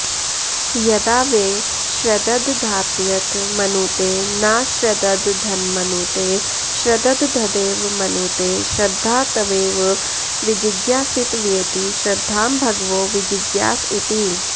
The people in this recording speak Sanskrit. यदा वै श्रद्दधात्यथ मनुते नाश्रद्दधन्मनुते श्रद्दधदेव मनुते श्रद्धा त्वेव विजिज्ञासितव्येति श्रद्धां भगवो विजिज्ञास इति